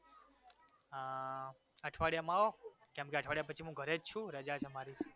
અમ અઠવાડિયામાં આવો કેમ કે અઠવાડિયા પછી હું ઘરે જ છુ રજા છે મારી